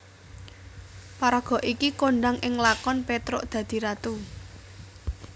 Paraga iki kondhang ing lakon Petruk dadi Ratu